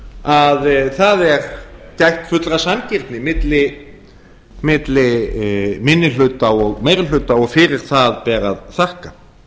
að það er gætt fullrar sanngirni milli minni hluta og meiri hluta og fyrir það ber að þakka